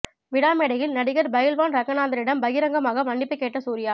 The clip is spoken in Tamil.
விழா மேடையில் நடிகர் பயில்வான் ரங்கநாதனிடம் பகிரங்கமாக மன்னிப்பு கேட்ட சூர்யா